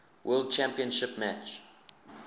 world championship match